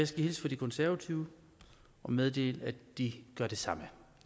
skal hilse fra de konservative og meddele at de gør det samme